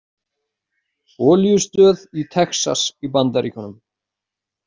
Olíustöð í Texas í Bandaríkjunum.